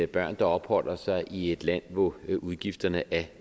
børn der opholder sig i et land hvor udgifterne er